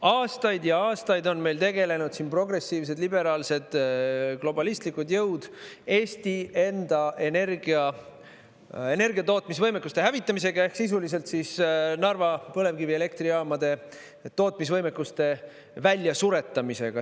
Aastaid ja aastaid on meil tegelenud siin progressiivsed, liberaalsed, globalistlikud jõud Eesti enda energiatootmisvõimekuste hävitamisega ehk sisuliselt Narva põlevkivielektrijaamade tootmisvõimekuste väljasuretamisega.